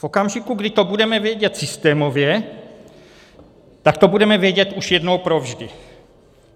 V okamžiku, kdy to budeme vědět systémově, tak to budeme vědět už jednou provždy.